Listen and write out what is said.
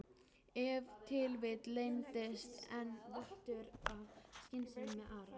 Ef til vill leyndist enn vottur af skynsemi með Ara?